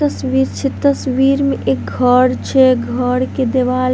तस्वीर छै तस्वीर मे एगो घर छै घर के देवाल --